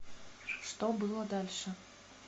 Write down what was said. что было дальше